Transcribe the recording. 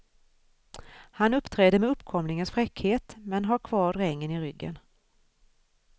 Han uppträder med uppkomlingens fräckhet, men har kvar drängen i ryggen.